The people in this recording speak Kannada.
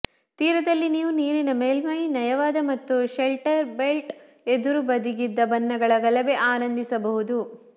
ತೀರದಲ್ಲಿ ನೀವು ನೀರಿನ ಮೇಲ್ಮೈ ನಯವಾದ ಮತ್ತು ಷೆಲ್ಟರ್ಬೆಲ್ಟ್ ಎದುರುಬದಿಗಿದ್ದ ಬಣ್ಣಗಳ ಗಲಭೆ ಆನಂದಿಸಬಹುದು